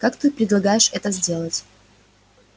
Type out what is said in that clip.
как ты предполагаешь это сделать